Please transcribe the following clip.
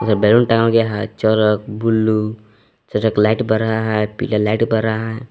और बैलून टांगा गया है चरक ब्लू और एक लाइट बर रहा है पीला लाइट बर रहा है।